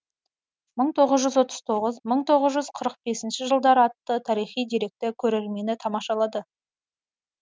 мың тоғыз жүз отыз тоғызыншы мың тоғыз жүз қырық бесінші жылдары атты тарихи деректі көрмені тамашалады